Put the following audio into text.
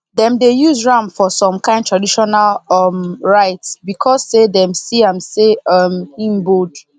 dem dey use ram for some kind traditional um rites because say dem see am say um he bold